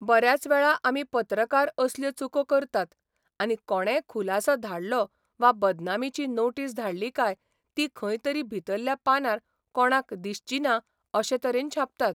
बऱ्याच वेळा आमी पत्रकार असल्यो चुको करतात आनी कोणेय खुलासो धाडलो वा बदनामीची नोटीस धाडली काय ती खंय तरी भितरल्या पानार कोणाक दिसची ना अशे तरेन छापतात.